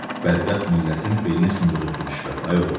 Bədbəxt millətin belini sındırır bu rüşvət, ay oğul.